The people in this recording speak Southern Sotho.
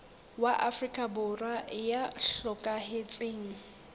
wa afrika borwa ya hlokahetseng